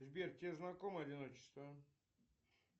сбер тебе знакомо одиночество